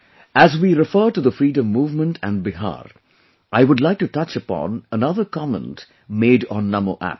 as we refer to the Freedom Movement and Bihar, I would like to touch upon another comment made on Namo App